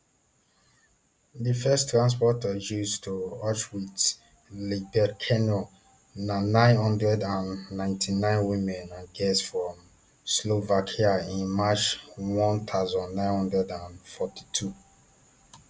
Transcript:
di first transport of jews to auschwitz iibirkenau na nine hundred and ninety-nine women and girls from slovakia in march one thousand, nine hundred and forty-two